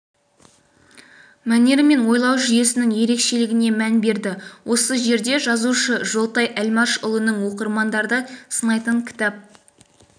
мәнері мен ойлау жүйесінің ерекшелігіне мән берді осы жерде жазушы жолтай әлмашұлының оқырмандарды сынайтын кітап